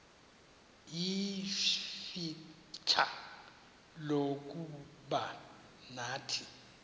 ixfsha lokuba nathi